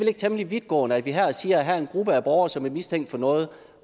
ikke temmelig vidtgående at vi her siger at her er en gruppe af borgere som er mistænkt for noget